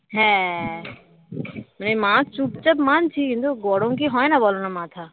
হ্যাঁ মানে মা চুপচাপ মানছি কিন্তু গরম কি হয় না বলো না মাথা